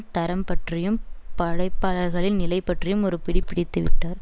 தரம் பற்றியும் படைப்பாளர்களின் நிலை பற்றியும் ஒரு பிடி பிடித்து விட்டார்